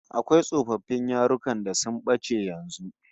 Akwai tsofaffin yarukan da sun bace yanzu